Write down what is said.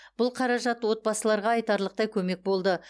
бұл қаражат отбасыларға айтарлықтай көмек болды